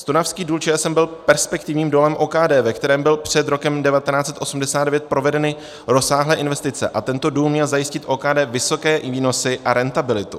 Stonavský důl ČSM byl perspektivním dolem OKD, ve kterém byly před rokem 1989 provedeny rozsáhlé investice, a tento důl měl zajistit OKD vysoké výnosy a rentabilitu.